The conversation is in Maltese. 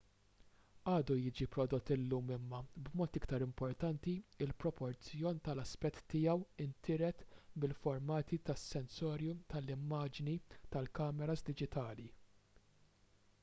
għadu jiġi prodott illum imma b'mod iktar importanti il-proporzjon tal-aspett tiegħu intiret mill-formati tas-sensorju tal-immaġni tal-kameras diġitali